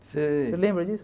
Você Você lembra disso?